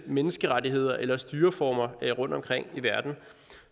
menneskerettigheder eller bestemte styreformer rundtomkring i verden